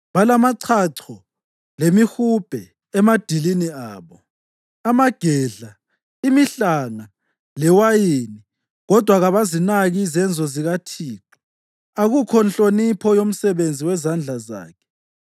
Balamachacho lemihubhe emadilini abo, amagedla, imihlanga, lewayini, kodwa kabazinaki izenzo zikaThixo, akukho nhlonipho yomsebenzi wezandla zakhe.